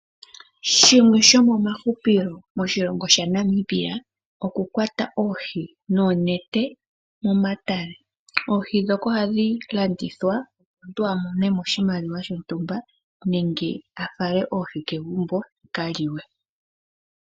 Shimwe shomomahupilo moshilongo shaNamibia, okukwata oohi noonete momatale. Oohi ndhoka ohadhi landithwa, opo omuntu a mone mo oshimaliwa shontumba nenge a fale oohi kegumbo ya ka lye.